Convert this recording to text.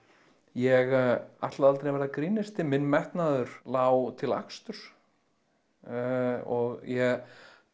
ég ætlaði aldrei að verða grínisti minn metnaður lá til aksturs ég